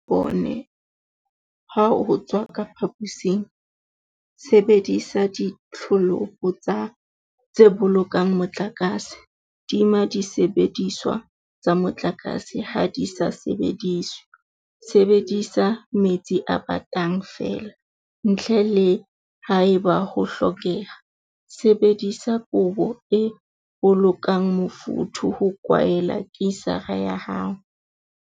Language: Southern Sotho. Bone ha o tswa ka phaposing Sebedisa ditholopo tse Bolokang Motlakase.Tima disebediswa tsa motlakase ha di sa sebediswe Sebedisa metsi a batang feela, ntle le haeba ho hlokeha. Sebedisa kobo e bolokang mofuthu ho kwaela kisara ya hao.